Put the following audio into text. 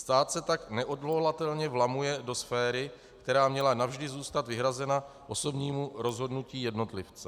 Stát se tak neodvolatelně vlamuje do sféry, která měla navždy zůstat vyhrazena osobnímu rozhodnutí jednotlivce.